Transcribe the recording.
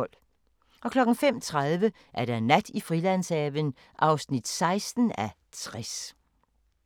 05:30: Nat i Frilandshaven (16:60)